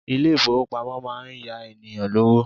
Ilé ìfowópamọ́ máa ń yá ènìyàn lówó.